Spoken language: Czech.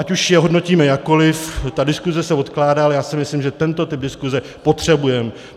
Ať už je hodnotíme jakkoliv, ta diskuze se odkládá, ale já si myslím, že tento typ diskuze potřebujeme.